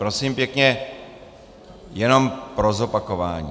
Prosím pěkně jenom pro zopakování.